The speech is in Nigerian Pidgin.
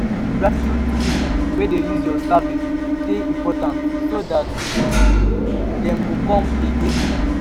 gratitude to pipo wey use your services de important so that um dem go come again